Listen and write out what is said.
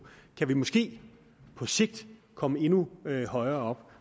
kan vi måske på sigt komme endnu højere